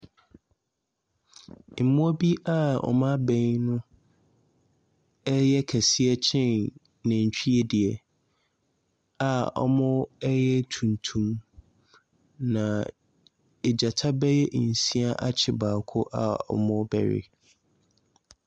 Mmoa bi a wɔn abɛbɛn yɛ kɛseɛ kyɛn nantwie deɛ a, wɔyɛ tuntum, na nnyata bɛyɛ nsia akye baako rebɛwe.